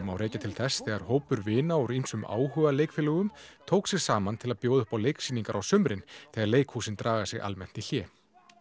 má rekja til þess þegar hópur vina úr ýmsum áhugaleikfélögum tók sig saman til að bjóða upp á leiksýningar á sumrin þegar leikhúsin draga sig almennt í hlé